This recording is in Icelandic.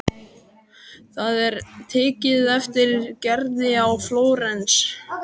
Það er tekið eftir Gerði í Flórens.